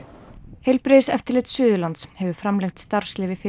heilbrigðiseftirlit Suðurlands hefur framlengt starfsleyfi